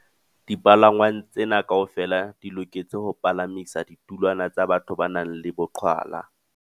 Dipalangwang tsena kaofela di loketse ho pa lamisa ditulwana tsa batho ba nang le boqhwala.